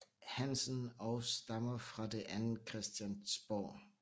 Hansen og stammer fra det andet Christiansborg